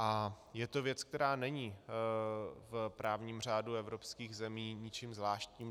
A je to věc, která není v právním řádu evropských zemí ničím zvláštním.